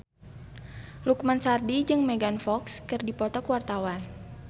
Lukman Sardi jeung Megan Fox keur dipoto ku wartawan